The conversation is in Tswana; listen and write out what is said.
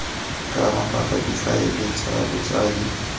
ka mabaka difaele tsa botsadi